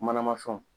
Manama fɛnw